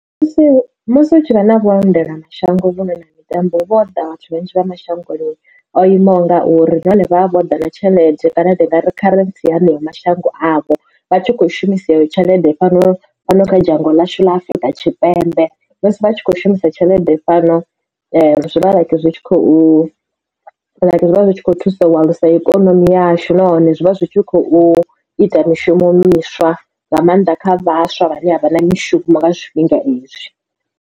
Musi musi hu tshi vha na vhuendelamashango vhuno na mitambo hu vho ḓa vhathu vhanzhi vha mashangoni o imaho ngauri nahone vha vha vho ḓa na tshelede kana ndi ngari kharentsi ya haneyo mashango avho vha tshi kho shumisa iyo tshelede fhano fhano kha dzhango ḽashu ḽa afrika tshipembe musi vha tshi kho shumisa tshelede fhano zwivha zwi tshi khou zwi vha zwi tshi khou thusa u alusa ikonomi yashu nahone zwi vha zwi tshi khou ita mishumo miswa nga maanḓa kha vhaswa vhane a vha na mishumo nga zwifhinga izwi.